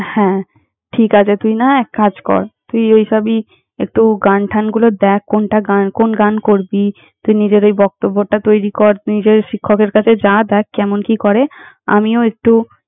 হ্যাঁ, ঠিক আছে তুই না হয় এক কাজ কর, তুই ওইসবই একটু গান-ঠান গুলো দ্যাখ কোনটা গান, কোন গান করবি। তুই নিজের ওই বক্তব্যটা তৈরি কর, তুই যে শিক্ষকের কাছে যা দ্যাখ কেমন কি করে! আমিও একটু।